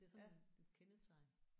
Det er sådan et kendetegn